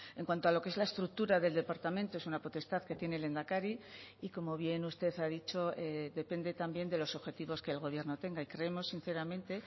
en cuanto a lo que es la estructura del departamento es una potestad que tiene el lehendakari y como bien usted ha dicho depende también de los objetivos que el gobierno tenga y creemos sinceramente